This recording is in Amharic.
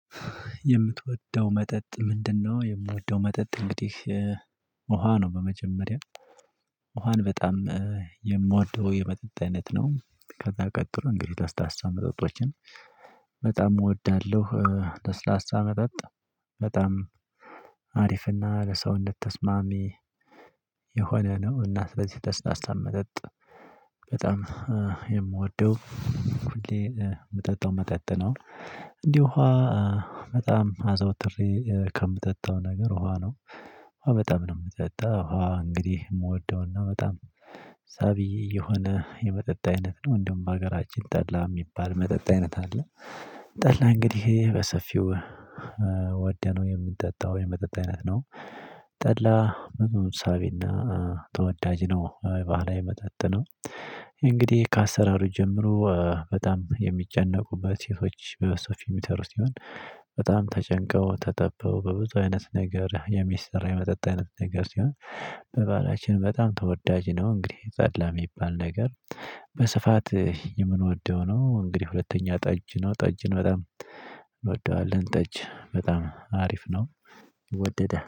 የምትወደው መጠጥ ምንድነው? የምወደው መጠጥ እንግዲህ ውሃ ነው። በመጀመሪያ ውሃን በጣም የምወደው የመጠጥ አይነት ነው። ከዛ ቀጥሎ እንግዲህ ለስላሳ መጠጦችን በጣም እወዳለሁ። ለስላሳ መጠጥ በጣም አሪፍና ለሰውነት ተስማሚ የሆነ ነው። እና ስለዚህ ለስላሳ መጠጥ በጣም የምወደው ሁሌ የምጠጣው መጠጥ ነው። እንዲሁ በጣም አዘውትሬ ከምጠጣው ነገር ውሃ ነው። በጣም ነው የምጠጣው ውሃ እንግዲህ የምወደውና በጣም ሳቢ የሆነ የመጠጥ አይነት ነው። እንደውም በሀገራችን ጠላ የሚባል መጠጥ አይነት አለ። ጠላ እንግዲህ በሰፊው ወደነው የምንጠጣው የመጠጥ አይነት ነው። ጠላ ሳቢና ተወዳጅ ነው ባህላዊ መጠጥ ነው። እንግዲህ ከአሰራሩ ጀምሮ በጣም የሚጨነቁበት በሴቶች የሚቀርብ ሲሆን በጣም ተጨንቀው ተጠበው በብዙ አይነት ነገር የሚሰራ የመጠጥ አይነት ነገር ሲሆን በባህላችን በጣም ተወዳጅ ነው። እንግዲህ ጠላ የሚባል ነገር በስፋት የምንወደው ነው። እንግዲህ ሁለተኛ ጠጅ ነው ጠጅን በጣም እንወደዋለን ጠጅ በጣም አሪፍ ነው። ይወደዳል